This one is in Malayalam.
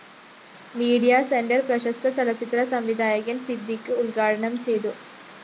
മീഡിയ സെന്റർ പ്രശസ്ത ചലച്ചിത്ര സംവിധായകന്‍ സിദ്ദിഖ് ഉദ്ഘാടനം ചെയ്തു